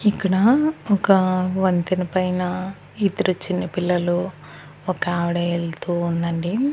ఇక్కడ ఒక వంతెన పైనా ఇద్దరు చిన్న పిల్లలు ఒక ఆవిడ వెళ్తూ ఉందండి.